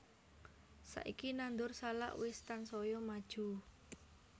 Saiki nandur salak wis tansaya maju